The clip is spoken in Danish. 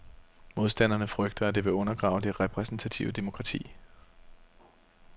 Modstanderne frygter, at det vil undergrave det repræsentative demokrati.